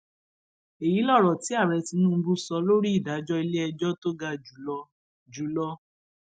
èyí lọrọ tí ààrẹ tinubu sọ lórí ìdájọ iléẹjọ tó ga jù lọ jù lọ